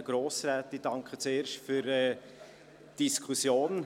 Zuerst danke ich für die Diskussion.